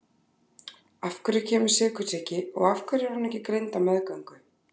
Af hverju kemur sykursýki og af hverju er hún ekki greind á meðgöngu?